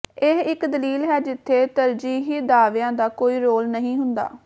ਇਹ ਇੱਕ ਦਲੀਲ ਹੈ ਜਿੱਥੇ ਤਰਜੀਹੀ ਦਾਅਵਿਆਂ ਦਾ ਕੋਈ ਰੋਲ ਨਹੀਂ ਹੁੰਦਾ